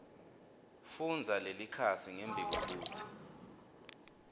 fundza lelikhasi ngembikwekutsi